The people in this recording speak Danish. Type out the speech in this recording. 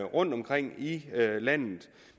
rundtomkring i landet